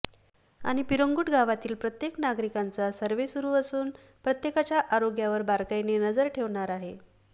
आणि पिरंगुट गावातील प्रत्येक नागरिकांचा सर्व्हे सुरू असून प्रत्येकाच्या आरोग्यावर बारकाईने नजर ठेवणार आहे